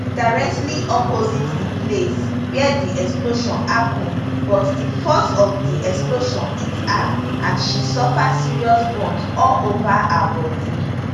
directly opposite di place wia di explosion happun but di force of di explosion hit her and she suffer serious burn all over her bodi